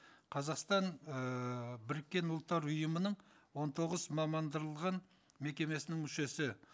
қазақстан ыыы біріккен ұлттар ұйымының он тоғыз мекемесінің мүшесі